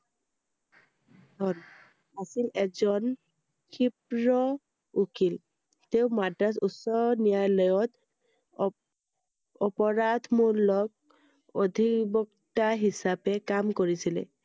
On আছিল এজন ক্ষীপ্ৰ উকিল। তেওঁ মাদ্ৰাজ উচ্চ ন্য়ায়ালয়ত অপ~অপৰাধমূলক অধিবক্তা হিচাপে কাম কৰিছিলে।